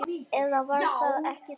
Eða var það ekki þá?